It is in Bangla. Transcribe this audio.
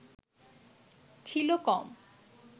ছিল কম